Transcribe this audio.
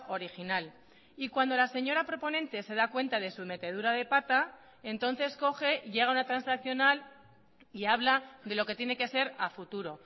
original y cuando la señora proponente se da cuenta de su metedura de pata entonces coge llega a una transaccional y habla de lo que tiene que ser a futuro